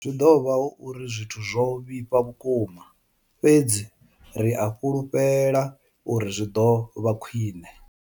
Zwi ḓo vha hu uri zwithu zwo vhifha vhukuma, fhedzi ri a fhulufhela uri zwi ḓo vha khwiṋe.